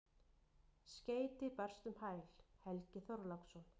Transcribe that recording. Skeyti barst um hæl: Helgi Þorláksson.